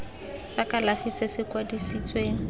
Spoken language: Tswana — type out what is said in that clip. sa kalafi se se kwadisitsweng